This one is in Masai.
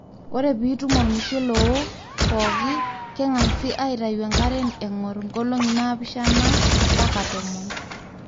ore piitum olmushele owoo pooki, kegasi aitayu enkare engor nkologi naapisha mpaka tomon